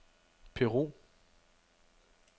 Peru